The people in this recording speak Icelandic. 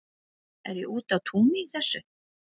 Er ég úti á túni í þessu?